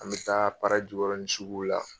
An bɛ taa jikɔrɔnin sugu la.